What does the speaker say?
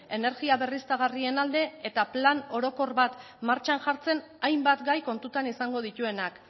energia berriztagarrien alde eta plan orokor bat martxan jartzen hainbat gai kontutan izango dituenak